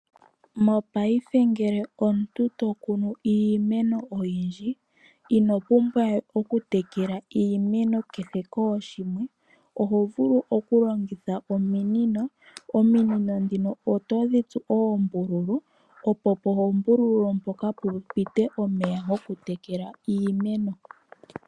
Mopaife ngele omuntu to kunu iimeno oyindji, ino pumbwa we oku tekela iimeno kehe kooshimwe oho vulu oku longitha ominino. Ominino ndhino oto dhi tsu oombululu opo poombululu mooka pu ite omeya goku tekela iimeno.